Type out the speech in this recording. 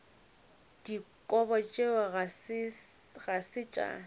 dikobo tšeo ga se tša